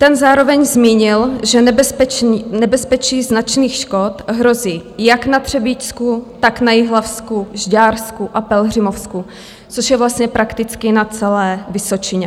Ten zároveň zmínil, že nebezpečí značných škod hrozí jak na Třebíčsku, tak na Jihlavsku, Žďársku a Pelhřimovsku, což je vlastně prakticky na celé Vysočině.